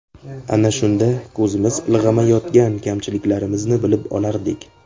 Ana shunda ko‘zimiz ilg‘amayotgan kamchiliklarimizni bilib olardik.